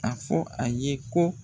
A fɔ a ye ko.